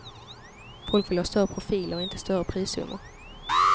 Folk vill ha större profiler, inte större prissummor.